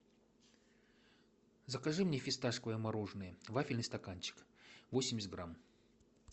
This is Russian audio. закажи мне фисташковое мороженое вафельный стаканчик восемьдесят грамм